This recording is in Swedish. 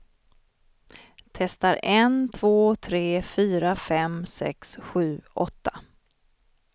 Testar en två tre fyra fem sex sju åtta.